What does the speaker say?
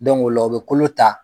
ola u bɛ kolo ta.